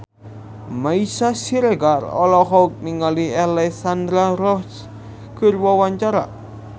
Meisya Siregar olohok ningali Alexandra Roach keur diwawancara